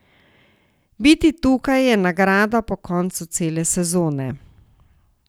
Biti tukaj je nagrada po koncu cele sezone.